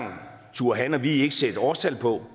turde han og vi ikke sætte årstal på